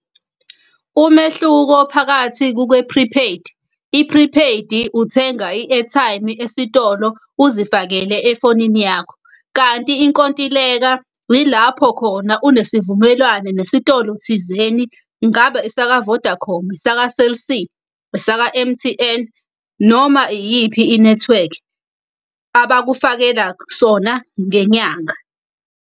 Umehluko phakathi kuke-prepaid, i-prepaid-i uthenga i-airtime esitolo uzifakele efonini yakho. Kanti inkontileka yilapho khona unesivumelwane nesitolo thizeni kungaba esaka-Vodacom, esaka-Cell C, esaka M_T_N, noma iyiphi inethiwekhi abakufakela sona ngenyanga.